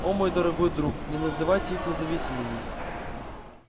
о мой дорогой друг не называйте их независимыми